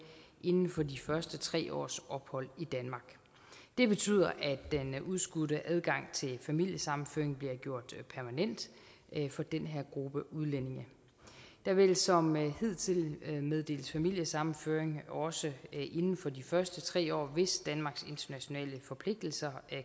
inden for de første tre års ophold i danmark det betyder at den udskudte adgang til familiesammenføring bliver gjort permanent for den her gruppe udlændinge der vil som hidtil meddeles familiesammenføring også inden for de første tre år hvis danmarks internationale forpligtelser